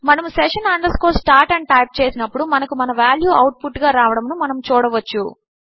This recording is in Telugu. మనము session start అని టైప్ చేసినప్పుడు మనకు మన వాల్యూ అవుట్ పుట్ గా రావడమును మనము చూడవచ్చు